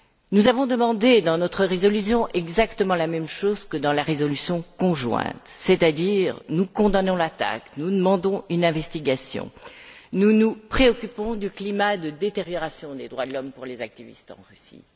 Nous avons demandé, dans notre résolution, exactement la même chose que dans la résolution conjointe, c'est à dire que nous condamnons l'attaque, que nous demandons une enquête, que nous nous préoccupons du climat de détérioration des droits de l'homme pour les militants en Russie.